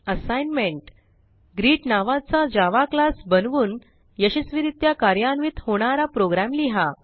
assignment greet नावाचा Java class बनवून यशस्वीरित्या कार्यान्वित होणारा प्रोग्रॅम लिहा